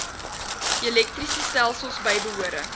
elektriese stelsels bybehore